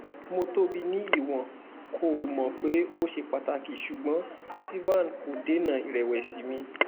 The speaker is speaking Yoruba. mo tobi ni iwọn ko mọ pe o ṣe pataki ṣugbọn ativan ko dena irewesi mi